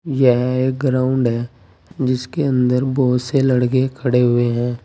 यह एक ग्राउंड है जिसके अंदर बहुत से लड़के खड़े हुए हैं।